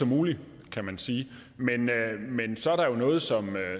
muligt kan man sige men så er der jo noget som